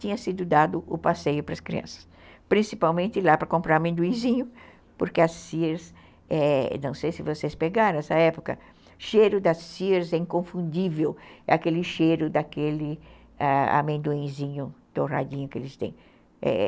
Tinha sido dado o passeio para as crianças, principalmente lá para comprar amendoinzinho, porque a Sears, eh, não sei se vocês pegaram essa época, o cheiro da Sears é inconfundível, é aquele cheiro daquele ãh amendoinzinho torradinho que eles têm.